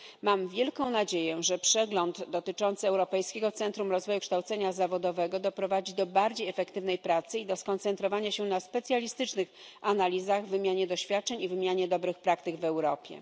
Mam wielką nadzieję, że przegląd dotyczący Europejskiego Centrum Rozwoju Kształcenia Zawodowego doprowadzi do bardziej efektywnej pracy i do skoncentrowania się na specjalistycznych analizach, wymianie doświadczeń i wymianie dobrych praktyk w Europie.